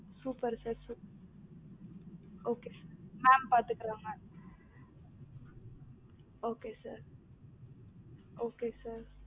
super sir super sir okay sir mam பாத்து கிடுறாங்க okay sir okay sir